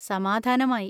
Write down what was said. സമാധാനമായി.